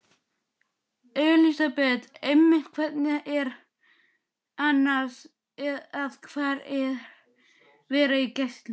Elísabet: Einmitt, hvernig er annars að vera í gæslunni?